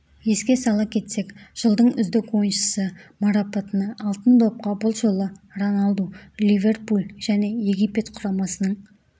еске сала кетсек жылдың үздік ойыншысы марапатына алтын допқа бұл жолы роналду ливерпуль және египет құрамасының